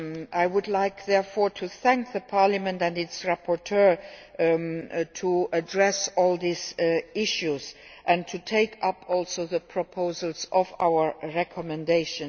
I would like therefore to thank the Parliament and its rapporteur for addressing all these issues and to take up also the proposals of our recommendation.